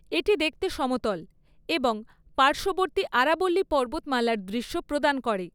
এটি দেখতে সমতল এবং পার্শ্ববর্তী আরাবল্লী পর্বতমালার দৃশ্য প্রদান করে।